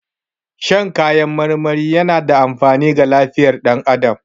Shan kayan marmari yana da amfani ga lifiyar dan adamu